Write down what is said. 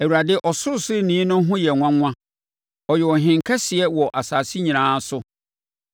Awurade Ɔsorosoroni no ho yɛ nwanwa, Ɔyɛ Ɔhene kɛseɛ wɔ asase nyinaa so!